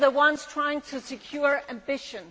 We are the ones trying to secure our ambition.